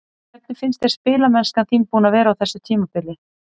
Hvernig finnst þér spilamennskan þín búin að vera á þessu tímabili?